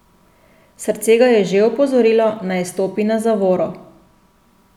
Srce ga je že opozorilo, naj stopi na zavoro.